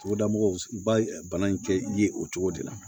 Togoda mɔgɔw ba bana in kɛ ye o cogo de la